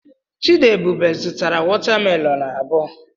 Chidiebube zụtara watamelonụ abụọ.